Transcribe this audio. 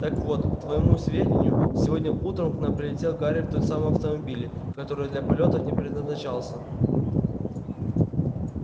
так вот к твоему сведению сегодня утром к нам прилетел гарри в том самом автомобиле который для полётов не предназначался